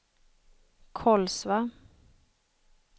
Kolsva